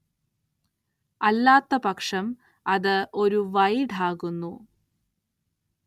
അല്ലാത്തപക്ഷം അത് ഒരു വൈഡാകുന്നു.